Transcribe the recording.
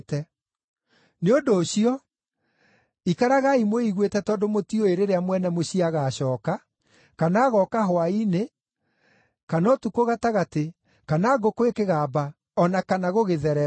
“Nĩ ũndũ ũcio, ikaragai mwĩiguĩte tondũ mũtiũĩ rĩrĩa mwene mũciĩ agacooka, kana agooka hwaĩ-inĩ, kana ũtukũ gatagatĩ, kana ngũkũ ĩkĩgamba, o na kana gũgĩthererũka.